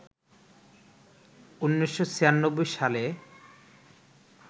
১৯৯৬ সালে